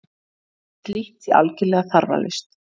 Slíkt sé algerlega þarflaust